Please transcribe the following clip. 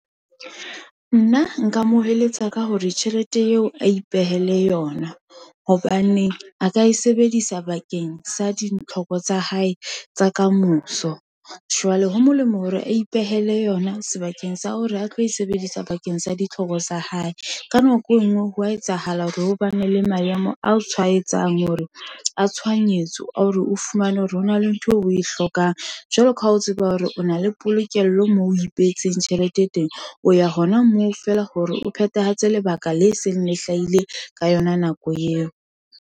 Nna nka mo eletsa ka hore tjhelete eo a ipehele yona, hobane a ka e sebedisa bakeng sa ditlhoko tsa hae tsa kamoso, jwale ho molemo hore a ipehele yona, sebakeng sa hore a tlo e sebedisa bakeng sa ditlhoko tsa hae. Ka nako e nngwe hwa etsahala hore ho bane le maemo a tshwaetsang hore a tshohanyetso, a hore o fumane hore hona le ntho eo o e hlokang. Jwale ka ha o tseba hore o na le polokelo moo o ipehetseng tjhelete e teng, o ya hona moo feela hore o phethahatse lebaka le seng le hlahile ka yona nako eo.